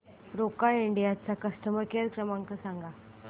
Roca India चा customer care क्रमांक सांगा